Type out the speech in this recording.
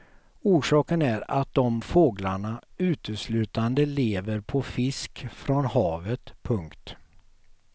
Orsaken är att dom fåglarna uteslutande lever på fisk från havet. punkt